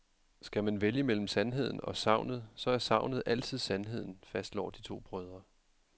Skal man vælge mellem sandheden og sagnet, så er sagnet altid sandheden, fastslår de to brødre.